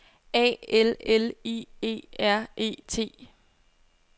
A L L I E R E T